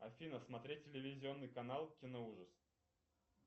афина смотреть телевизионный канал киноужас